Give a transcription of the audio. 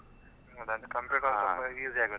ಹೌದ್ ಅದು computer ಸ್ವಲ್ಪಾ easy ಆಗತ್.